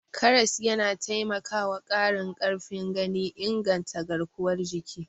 Karas yana taimakwa ƙarin ƙarfin gani, inganta garkuwar jiki.